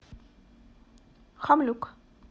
хамлюк